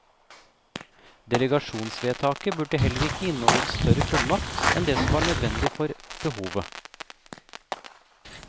Delegasjonsvedtaket burde heller ikke inneholde større fullmakt enn det som var nødvendig for behovet.